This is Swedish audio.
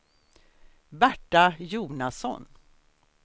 Berta Jonasson